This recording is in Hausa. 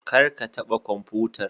Kar ka taɓa kwamfutar.